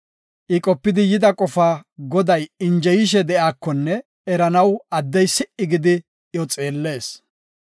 I qopidi yida qofa Goday injeyishe de7iyakonne eranaw addey si77i gidi iyo xeellees.